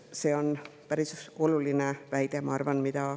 See on päris oluline väide, ma arvan.